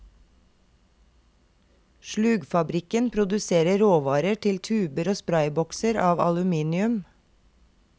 Slugfabrikken produserer råvarer til tuber og spraybokser av aluminium.